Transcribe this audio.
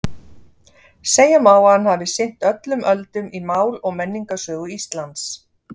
Segja má að hann hafi sinnt öllum öldum í mál- og menningarsögu Íslands.